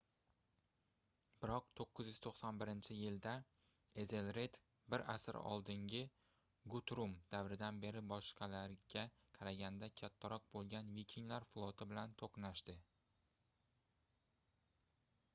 biroq 991-yilda ezelred bir asr oldingi gutrum davridan beri boshqalariga qaraganda kattaroq boʻlgan vikinglar floti bilan toʻqnashdi